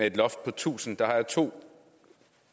et loft på tusind har jeg to